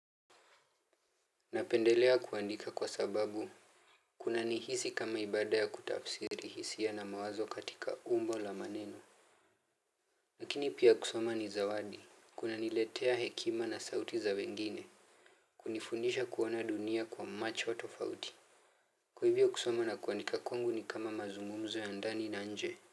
Napendelea kuandika kwa sababu Kunanihisi kama ibada ya kutafsiri hisia na mawazo katika umbo la maneno lakini pia kusoma ni zawadi. Kunaniletea hekima na sauti za wengine kunifundisha kuona dunia kwa macho tofauti. Kwa hivyo kusoma na kuandika kwangu ni kama mazungumzo ya ndani na nje.